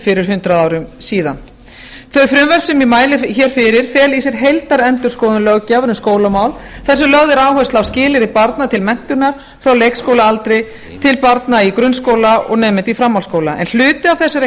fyrir hundrað árum síðan þau frumvörp sem ég mæli hér fyrir fela í sér heildarendurskoðun löggjafar um skólamál þar sem lögð er áhersla á skilyrði barn til menntunar frá leikskólaaldri til barna í grunnskóla og nemenda í framhaldsskóla en hluti af þessari